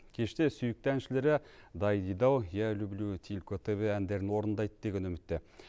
кеште сүйікті әншілері дайдидау я люблю тільки тебе әндерін орындайды деген үмітте